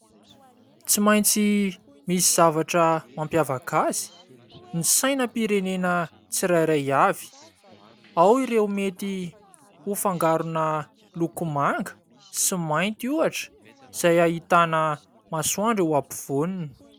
Tsy maintsy misy zavatra mampiavaka azy ny sainam-pirenena tsirairay avy. Ao ireo mety ho fangarona loko manga sy mainty ohatra izay ahitana masoandro afovoaniny.